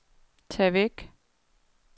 tag væk